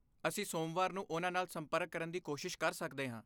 ਅਸੀਂ ਸੋਮਵਾਰ ਨੂੰ ਉਨ੍ਹਾਂ ਨਾਲ ਸੰਪਰਕ ਕਰਨ ਦੀ ਕੋਸ਼ਿਸ਼ ਕਰ ਸਕਦੇ ਹਾਂ।